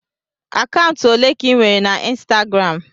Akaụntụ olee ka ị nwere na Ịnstagram?